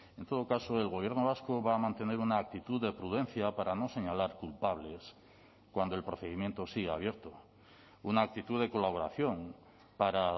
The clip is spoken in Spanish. en todo caso el gobierno vasco va a mantener una actitud de prudencia para no señalar culpables cuando el procedimiento sigue abierto una actitud de colaboración para